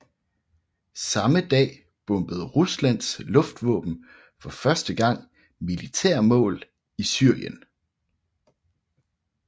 Samme dag bombede Ruslands luftvåben for første gang militære mål i Syrien